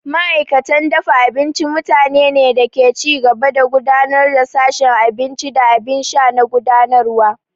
Ma'aikatan dafa abinci mutanene ne da ke ci gaba da gudanar da sashin abinci da abin sha na gudanarwa.